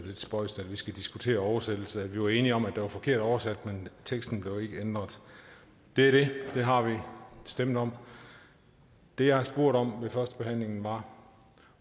lidt spøjst at vi skal diskutere oversættelse vi var enige om at det var forkert oversat men teksten blev ikke ændret det er det det har vi stemt om det jeg spurgte om ved førstebehandlingen var